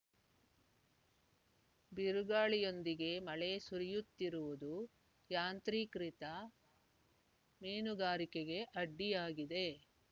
ಬಿರುಗಾಳಿಯೊಂದಿಗೆ ಮಳೆ ಸುರಿಯುತ್ತಿರುವುದು ಯಾಂತ್ರೀಕೃತ ಮೀನುಗಾರಿಕೆಗೆ ಅಡ್ಡಿಯಾಗಿದೆ